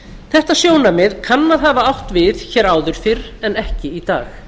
þetta sjónarmið kann að hafa átt við hér áður fyrr en ekki í dag